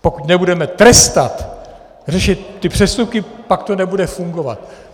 Pokud nebudeme trestat, řešit ty přestupky, pak to nebude fungovat.